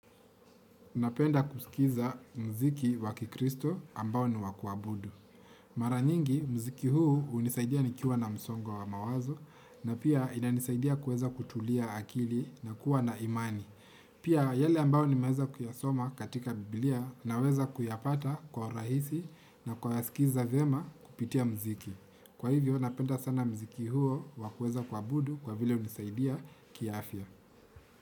Unapenda kusikiza mziki wakikristo ambao ni wakuabudu. Mara nyingi mziki huu unisaidia ni kiwa na msongo wa wa mawazo na pia inanisaidia kuweza kutulia akili na kuwa na imani. Pia yale ambayo nimeweza kuyasoma katika biblia na weza kuyapata kwa rahisi na kwa yaskiza vyema kupitia mziki. Kwa hivyo napenda sana mziki huo wa kueza kuabudu kwa vile unisaidia ki afya.